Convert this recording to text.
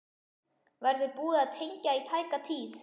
Verður búið að tengja í tæka tíð?